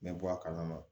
N bɛ bɔ a kalama